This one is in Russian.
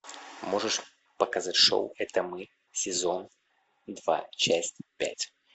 можешь показать шоу это мы сезон два часть пять